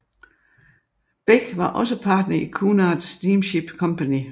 Bech var også partner i Cunard Steamship Company